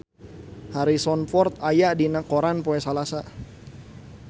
Harrison Ford aya dina koran poe Salasa